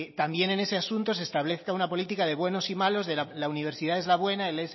también en ese asunto se establezca una política de buenos y malos la universidad es la buena el